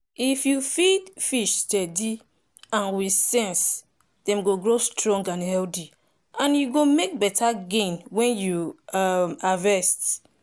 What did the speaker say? if you feed fish steady and with sense dem go grow strong and healthy and you go make better gain when you um harvest.